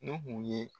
N'u kun ye